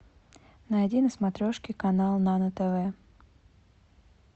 найди на смотрешке канал нано тв